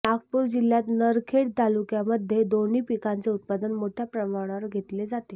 नागपूर जिल्ह्यात नरखेड तालुक्यामध्ये दोन्ही पिकांचे उत्पादन मोठ्या प्रमाणावर घेतले जाते